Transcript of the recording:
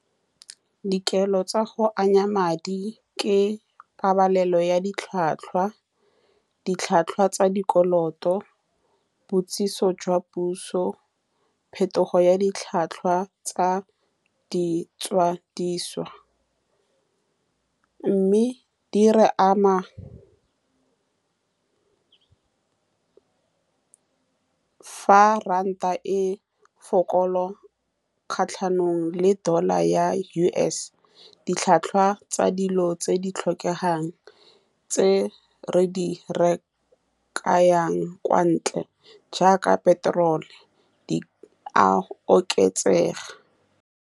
Dikelo tsa go ananya madi ke pabalelo ya ditlhwatlhwa, ditlhwatlhwa tsa dikoloto boitsitso jwa puso, phetogo ya ditlhwatlhwa tsa di tsadiso, mme di re ama fa ranta e fokola kgatlhanong le dollar-ra ya U_S, ditlhwatlhwa tsa dilo tse di tlhokegang tse re di rekang kwa ntle jaaka petrol-o, di a oketsega.